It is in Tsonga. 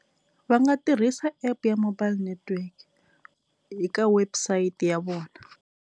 Va nga tirhisa app ya mobile network eka website ya vona.